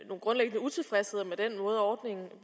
er utilfreds